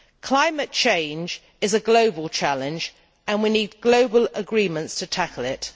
Climate change is a global challenge and we need global agreements to tackle it.